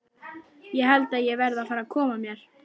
Ég held að ég verði að fara að koma mér.